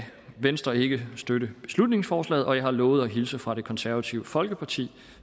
venstre ikke støtte beslutningsforslaget og jeg har lovet at hilse fra det konservative folkeparti